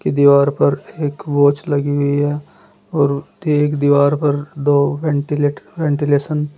दीवार पर एक वॉच लगी हुई हैं और एक दीवार पर दो वेंटीलेटर वेंटिलेशन --